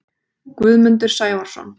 Guðmundur Sævarsson